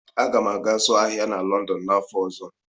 Aga m aga zụọ ahịa na Lọndọn n'afọ ọzọ.